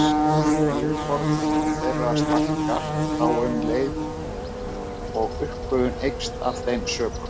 Yfirborð þeirra stækkar þá um leið og uppgufun eykst af þeim sökum.